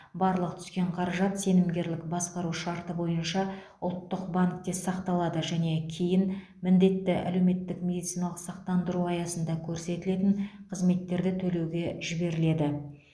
барлық түскен қаражат сенімгерлік басқару шарты бойынша ұлттық банкте сақталады және кейін міндетті әлеуметтік медициналық сақтандыру аясында көрсетілетін қызметтерді төлеуге жіберіледі